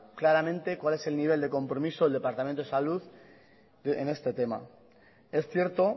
claramente cuál es el nivel de compromiso del departamento de salud en este tema es cierto